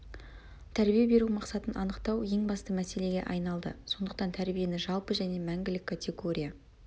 тәрбие беру мақсатын анықтау ең басты мәселеге айналды сондықтан тәрбиені жалпы және мәңгілік категория